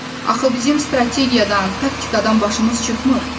Axı bizim strategiyadan, taktikadan başımız çıxmır.